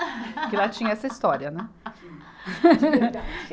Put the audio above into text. Porque lá tinha essa história, né?